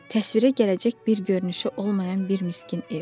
Təsvirə gələcək bir görünüşü olmayan bir miskin ev.